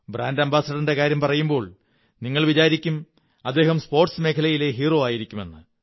brand അംബാസഡറിന്റെ കാര്യം പറയുമ്പോൾ നിങ്ങൾ വിചാരിക്കും അദ്ദേഹം സ്പോര്്ാസസ് മേഖലയിലെ ഹീറോ ആയിരിക്കുമെന്ന്